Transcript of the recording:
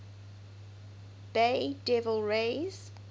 bay devil rays